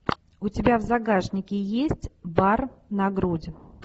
у тебя в загашнике есть бар на грудь